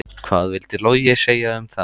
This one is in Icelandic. Hvað vildi Logi segja um það?